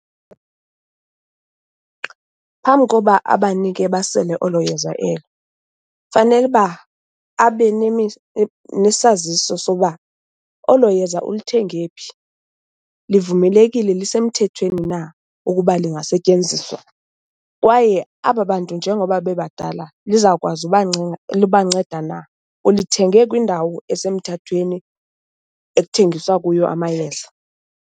Phambi koba abanike basele olo yeza elo, fanele uba abe nesaziso soba olo yeza ulithenge phi. Livumelekile, lisemthethweni na ukuba lingasetyenziswa? Kwaye aba bantu njengoba bebadala lizawukwazi ubanceda na, ulithenge kwindawo esemthethweni ekuthengiswa kuyo amayeza?